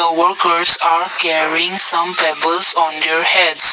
uh workers are carrying some pebbles their heads.